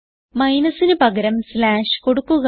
മൈനസിന് പകരം സ്ലാഷ് കൊടുക്കുക